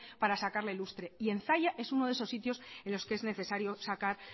para sacarle lustre y en zalla es uno de esos sitios en los que es necesario sacar